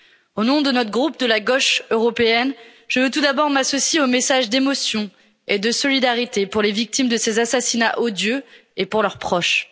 Au nom de notre groupe de la gauche européenne, je veux tout d'abord m'associer aux messages d'émotion et de solidarité pour les victimes de ces assassinats odieux et pour leurs proches.